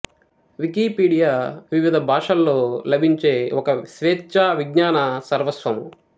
Wikipedia వివిధ భాషల్లో లభించే ఒక స్వేచ్ఛా విజ్ఞాన సర్వస్వము